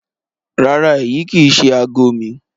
Rárá, èyi kí í ṣẹ̀ àágọ̀ mi.